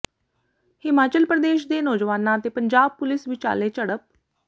ਹਿਮਾਚਲ ਪ੍ਰਦੇਸ਼ ਦੇ ਨੌਜਵਾਨਾਂ ਤੇ ਪੰਜਾਬ ਪੁਲੀਸ ਵਿਚਾਲੇ ਝੜਪ